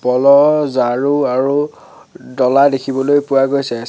কলহ ঝাৰু আৰু ডলা দেখিবলৈ পোৱা গৈছে চি--